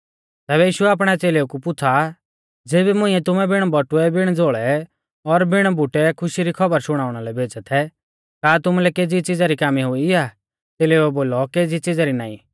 तैबै यीशुऐ आपणै च़ेलेऊ कु पुछ़ा ज़ेबी मुंइऐ तुमै बिण बटुऐ बिण झ़ोल़ै और बिण बुटै खुशी री खौबर शुणाउणा लै भेज़ै थै का तुमुलै केज़ी च़िज़ा री कामी हुई आ च़ेलेउऐ बोलौ केज़ी च़िज़ा री नाईं